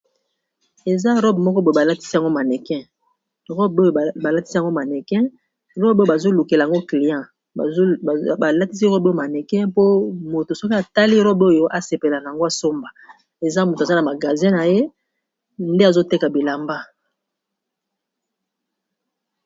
Eza , robe moko boyo balatisi yango maneke, robe oyo balatisi maneke, robe oyo bazolukela yango client ,balatisi robe oyo maneke ! mpo moto soki atali robe oyo asepela na yango. Asomba, eza moto aza na magazin naye ! nde azoteka Bilamba .